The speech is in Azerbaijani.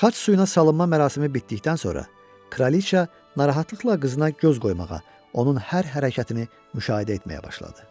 Xaç suyuna salınma mərasimi bitdikdən sonra Kraliça narahatlıqla qızına göz qoymağa, onun hər hərəkətini müşahidə etməyə başladı.